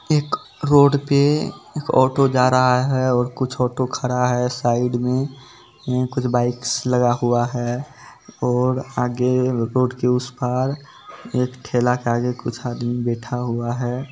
एक रोड पे एक ऑटो जा रहा है और कुछ ऑटो खड़ा है साइड में कुछ बाइक्स लगा हुआ है और आगे रोड के उस पार एक ठेला के आगे कुछ आदमी बैठा हुआ है।